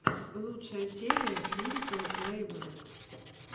лучшая серия лирикал лемонэйд